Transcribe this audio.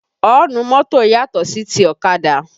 Ọ́ǹnù mọ́tò yàtò sí ti ọ̀kadà